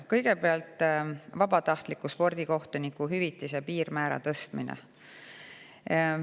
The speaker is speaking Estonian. Kõigepealt, vabatahtliku spordikohtuniku hüvitise piirmäära tõstmine.